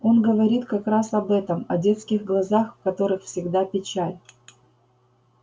он говорит как раз об этом о детских глазах в которых всегда печаль